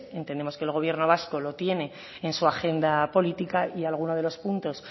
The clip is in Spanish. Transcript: entendemos que el gobierno vasco lo tiene en su agenda política y alguno de los puntos